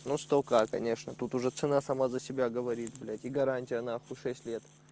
ну столько конечно тут уже цена само за себя говорит блять и гарантия на хуй шесть лет